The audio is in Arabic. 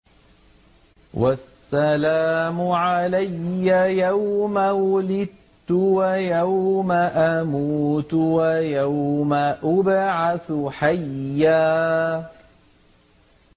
وَالسَّلَامُ عَلَيَّ يَوْمَ وُلِدتُّ وَيَوْمَ أَمُوتُ وَيَوْمَ أُبْعَثُ حَيًّا